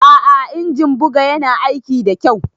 A'a injin buga Yana aiki da kyau.